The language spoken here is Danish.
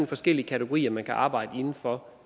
forskellige kategorier man kan arbejde inden for